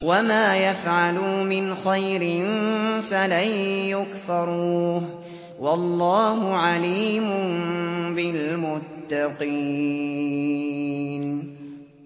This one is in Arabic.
وَمَا يَفْعَلُوا مِنْ خَيْرٍ فَلَن يُكْفَرُوهُ ۗ وَاللَّهُ عَلِيمٌ بِالْمُتَّقِينَ